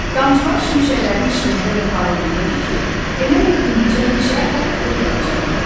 Damcılar şimşəklərin işığında elə parıldayırdı ki, elə bil indicə meşə od tutub yanacaqdı.